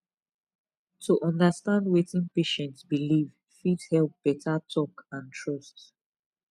to understand wetin patient believe fit help better talk and trust